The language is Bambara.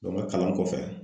n ka kalan kɔfɛ